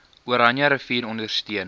oranje rivier ondersteun